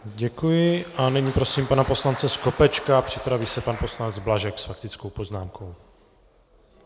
Děkuji a nyní prosím pana poslance Skopečka, připraví se pan poslanec Blažek s faktickou poznámkou.